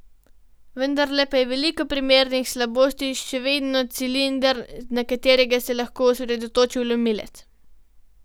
Vendarle pa je v veliko primerih slabost še vedno cilinder, na katerega se lahko osredotoči vlomilec.